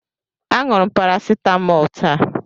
Aṅụrụ m parasitamọl taa.